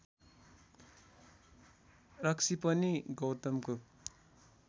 रक्सी पनि गौतमको